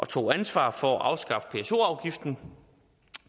tog ansvar for at afskaffe pso afgiften